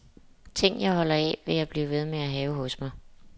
Ting, jeg holder af, vil jeg blive ved med at have hos mig.